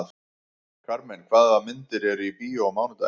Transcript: Karmen, hvaða myndir eru í bíó á mánudaginn?